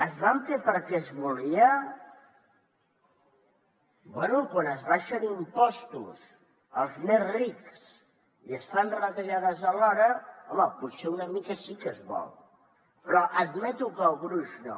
es van fer perquè es volia bé quan s’abaixen impostos als més rics i es fan retallades alhora home potser una mica sí que es vol però admeto que el gruix no